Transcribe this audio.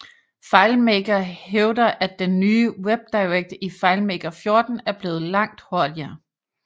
FileMaker hævder at den nye WebDirect i FileMaker 14 er blevet langt hurtigere